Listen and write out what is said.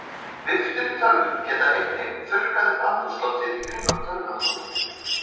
Viftur í tölvum geta einnig þurrkað upp andrúmsloftið í kringum tölvunotandann.